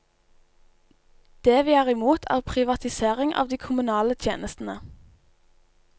Det vi er imot er privatisering av de kommunale tjenestene.